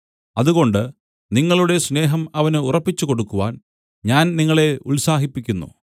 അതുകൊണ്ട് നിങ്ങളുടെ സ്നേഹം അവന് ഉറപ്പിച്ചുകൊടുക്കുവാൻ ഞാൻ നിങ്ങളെ ഉത്സാഹിപ്പിക്കുന്നു